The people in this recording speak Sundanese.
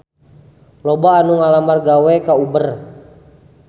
Loba anu ngalamar gawe ka Uber